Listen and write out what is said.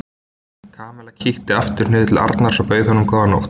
Kamilla kíkti aftur niður til Arnars og bauð honum góða nótt.